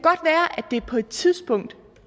det på et tidspunkt